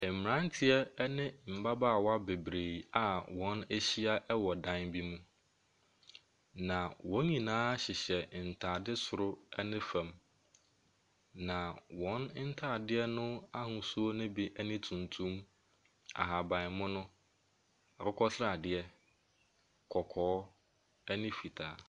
Mmeranteɛ ne mmabaawa bebree a wɔahyia wɔ dan bi bu, na wɔn nyinaa hyehyɛ ntadeɛ soro ne fam. Na wɔn ntadeɛ no ahosuo no bi ne tuntum, ahabammono, akokɔsradeɛ, kɔkɔɔ, ne fitaa.